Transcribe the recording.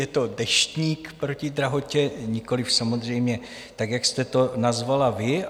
Je to Deštník proti drahotě, nikoliv samozřejmě tak, jak jste to nazvala vy.